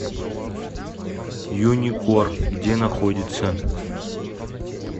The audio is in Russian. юникор где находится